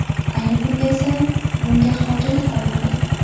Ayni kunda esa bunga hojat qolmadi”.